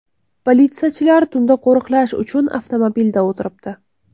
Politsiyachilar tunda qo‘riqlash uchun avtomobilda o‘tiribdi.